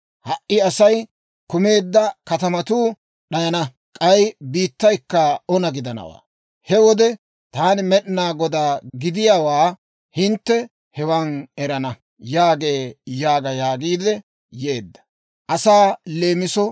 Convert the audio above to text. Ha"i Asay kumeedda katamatuu d'ayana; k'ay biittaykka ona gidanawaa. He wode taani Med'inaa Godaa gidiyaawaa hintte hewan erana» yaagee› yaaga» yaagiidde yeedda.